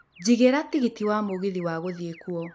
njigĩra tigiti wa mũgithi wa gũthiĩ kuo